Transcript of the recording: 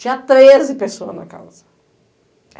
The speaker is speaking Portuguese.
Tinha treze pessoas na casa.